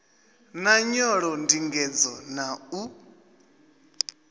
na nyolo ndingedzo na u